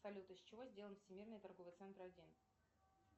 салют из чего сделан всемирный торговый центр один